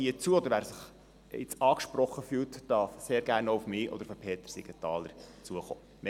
Oder wer sich jetzt angesprochen fühlt, darf sehr gerne auch auf mich oder Peter Siegenthaler zukommen.